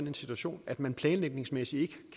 en situation at man planlægningsmæssigt ikke